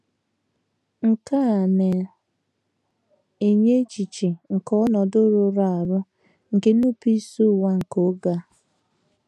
Nke a na - enye echiche nke ọnọdụ rụrụ arụ, nke nnupụisi ụwa nke oge a.